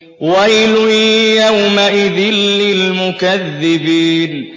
وَيْلٌ يَوْمَئِذٍ لِّلْمُكَذِّبِينَ